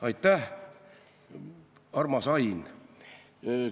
Aitäh, armas Ain!